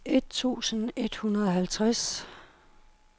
et tusind et hundrede og halvtreds